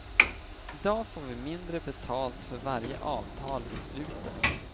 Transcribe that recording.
I dag får vi mindre betalt för varje avtal vi sluter.